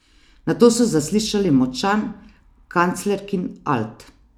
Nato se zasliši močan kanclerkin alt.